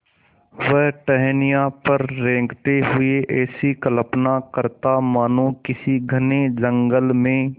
वह टहनियों पर रेंगते हुए ऐसी कल्पना करता मानो किसी घने जंगल में